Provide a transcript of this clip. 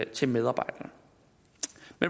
til medarbejderne